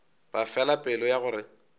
ba fela pelo ya gore